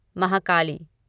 Mahakali